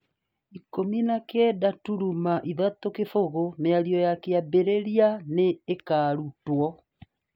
19:30 Mĩario ya kwambĩrĩria nĩ ĩkaarutwo.